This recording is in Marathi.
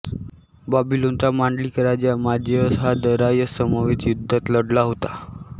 बॅबिलोनचा मांडलिक राजा मझेअस हा दरायस समवेत युद्धात लढला होता